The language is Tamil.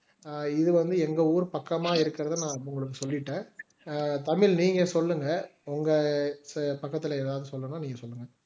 இது வந்து எங்க ஊர் பக்கமா இருக்கிறது நான் உங்களுக்கு சொல்லிட்டேன் தமிழ் நீங்க சொல்லுங்க உங்க பக்கத்துல எதாவது சொல்லனும்னா நீங்க சொல்லுங்க